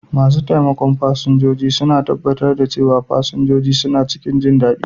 Masu taimakon fasinjoji suna tabbatar da cewa fasinjoji suna cikin jindadi.